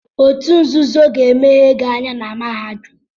Otu nzuzo ga emeghe gị anya na mahadum.